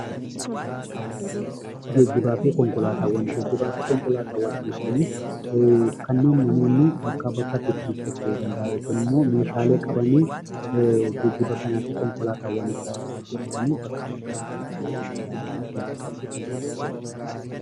Geejjibaafi konkolaataawwan: Geejjibaafi konkolaataawwan jechuun kanniin namoonni bakkaa bakkatti ittiin socho'uu danda'aan yookiinimmoo meeshaalee qabanii geejjiba kanaafi konkolaataawwan jiraniin bakka bakkatti socho'uu danda'aan geejjibaafi konkolaataawwan jedhamu.